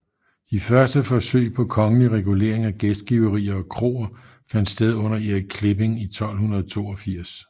De første forsøg på kongelig regulering af gæstgiverier og kroer fandt sted under Erik Klipping i 1282